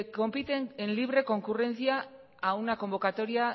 compiten en libre concurrencia a una convocatoria